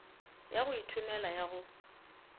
ya go ithomela ya go